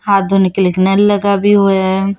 हाथ धोने के लिए एक नल लगा भी हुआ है।